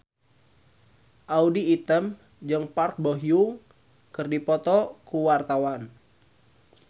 Audy Item jeung Park Bo Yung keur dipoto ku wartawan